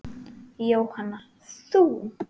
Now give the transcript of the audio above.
Jóhanna: Þú?